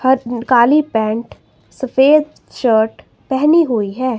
काली pant सफेद shirt पहनी हुई हैं।